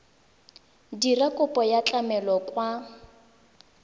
dira kopo ya tlamelo kwa